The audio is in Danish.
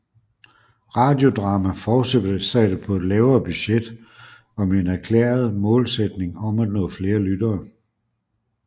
Radiodrama fortsatte på et lavere budget og med en erklæring målsætning om at nå flere lyttere